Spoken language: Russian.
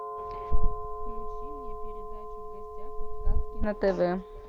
включи мне передачу в гостях у сказки на тв